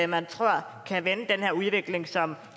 man tror kan vende den her udvikling som